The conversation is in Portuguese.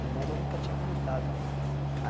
Com banda eu nunca tinha cantado.